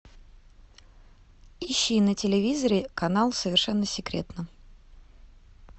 ищи на телевизоре канал совершенно секретно